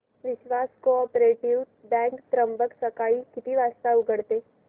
विश्वास cooperative bank Trimbak सकाळी किती वाजता उघडते